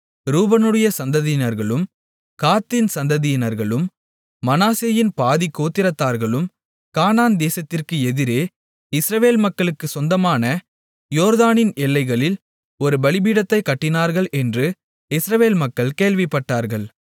ரூபனுடைய சந்ததியினர்களும் காத்தின் சந்ததியினர்களும் மனாசேயின் பாதிக் கோத்திரத்தார்களும் கானான் தேசத்திற்கு எதிரே இஸ்ரவேல் மக்களுக்குச் சொந்தமான யோர்தானின் எல்லைகளில் ஒரு பலிபீடத்தைக் கட்டினார்கள் என்று இஸ்ரவேல் மக்கள் கேள்விப்பட்டார்கள்